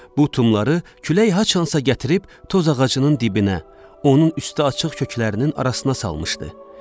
Bu tumları külək haçansa gətirib tozağacının dibinə, onun üstü açıq köklərinin arasına salmışdı.